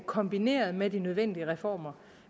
kombineret med de nødvendige reformer